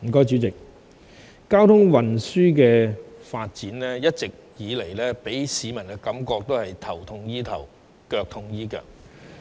主席，交通運輸發展一直以來給市民的感覺是，頭痛醫頭，腳痛醫腳。